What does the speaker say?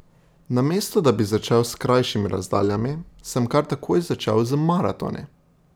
Namesto da bi začel s krajšimi razdaljami, sem kar takoj začel z maratoni.